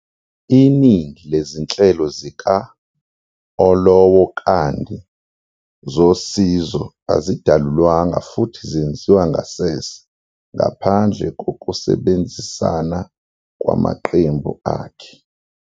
Iningi lezinhlelo zika-Olowokandi zosizo azidalulwanga futhi zenziwa ngasese ngaphandle kokusebenzisana kwamaqembu akhe.